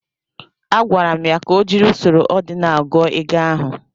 Agwara m ya ka o jiri usoro odinal gụọ ego ahụ.